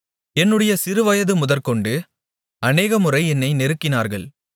என்னுடைய சிறுவயது முதற்கொண்டு அநேகமுறை என்னை நெருக்கினார்கள்